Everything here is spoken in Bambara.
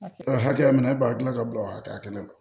Hakɛya min na e b'a gilan ka bila o hakɛya kelen na